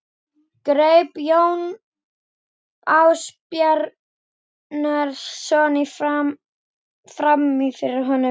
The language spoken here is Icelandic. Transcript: greip Jón Ásbjarnarson fram í fyrir honum.